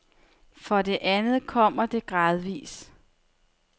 For det andet kommer det gradvis.